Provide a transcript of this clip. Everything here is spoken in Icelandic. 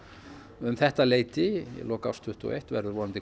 um þetta leyti í lok árs tuttugu og eitt verður vonandi